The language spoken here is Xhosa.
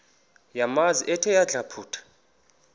yamanzi ethe yadlabhuka